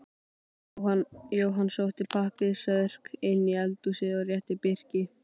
Jóhann sótti pappírsörk inn í eldhúsið og rétti Birki.